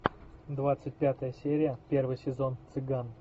двадцать пятая серия первый сезон цыган